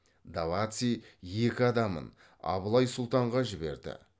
даваци екі адамын абылай сұлтанға жіберді